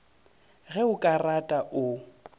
ge o ka rata o